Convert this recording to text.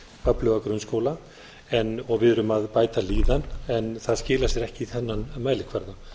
öfluga grunnskóla og við erum að bæta líðan en það skilar sér ekki í þennan mælikvarða